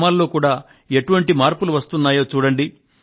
గ్రామాల్లో కూడా ఎటువంటి మార్పులు వస్తున్నాయో చూడండి